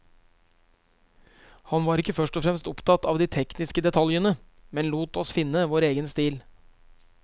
Han var ikke først og fremst opptatt av de tekniske detaljene, men lot oss finne vår egen stil.